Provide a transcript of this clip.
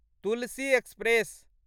Tulsi express